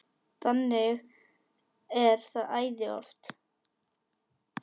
Þannig er það æði oft.